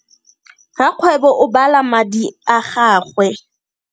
Rakgwebo o bala tšhelete ya gagwe.